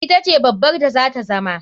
Ita ce babbar da zata zama.